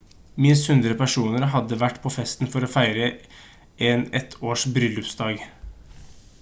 minst 100 personer hadde vært på festen for å feire en et års bryllupsdag